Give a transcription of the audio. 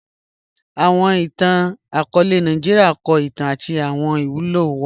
Awọn ìtàn-akọọlẹ Nàìjíríà kọ ìtàn àti awọn ìwúlò wa